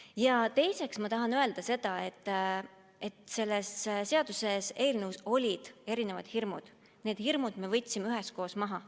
Ja teiseks ma tahan öelda, et see seaduseelnõu sisaldas punkte, mis tekitasid teatud hirme, ja need hirmud me võtsime üheskoos maha.